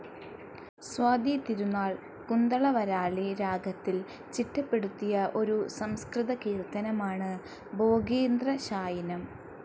സ്വാതി തിരുനാൾ കുന്തളവരാളി രാഗത്തിൽ ചിട്ടപ്പെടുത്തിയ ഒരു സംസ്കൃതകീർത്തനമാണ് ഭോഗീന്ദ്രശായിനം.